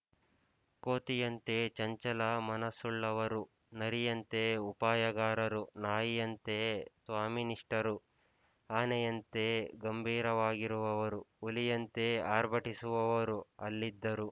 ಕೋತಿಯಂತೆ ಚಂಚಲ ಮನಸ್ಸುಳ್ಳವರು ನರಿಯಂತೆ ಉಪಾಯಗಾರರು ನಾಯಿಯಂತೆ ಸ್ವಾಮಿನಿಷ್ಠರು ಆನೆಯಂತೆ ಗಂಭೀರವಾಗಿರುವವರು ಹುಲಿಯಂತೆ ಆರ್ಭಟಿಸುವವರು ಅಲ್ಲಿದ್ದರು